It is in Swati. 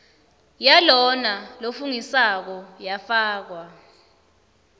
yalona lofungisako yafakwa